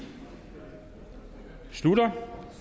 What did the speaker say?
slutter